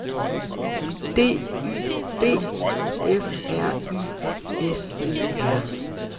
D Y B F R Y S E R